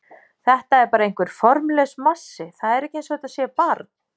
Þetta er bara einhver formlaus massi, það er ekki eins og þetta sé barn.